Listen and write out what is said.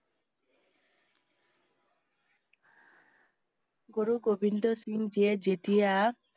গুৰু গোবিন্দ সিংহ জীয়ে যেতিয়া